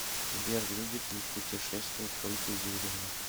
сбер любит ли путешествовать ольга юрьевна